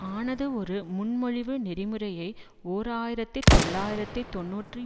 ஆனது ஒரு முன்மொழிவு நெறிமுறையை ஓர் ஆயிரத்தி தொள்ளாயிரத்து தொன்னூற்றி